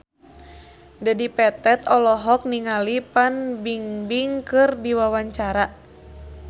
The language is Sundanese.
Dedi Petet olohok ningali Fan Bingbing keur diwawancara